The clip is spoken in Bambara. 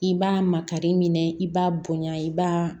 I b'a makari minɛ i b'a bonya i b'a